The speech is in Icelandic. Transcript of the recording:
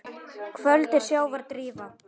Köld er sjávar drífa.